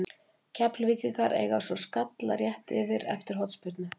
Keflvíkingarnir eiga svo skalla rétt yfir eftir hornspyrnu.